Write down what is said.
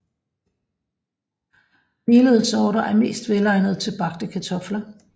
Melede sorter er mest velegnet til bagte kartofler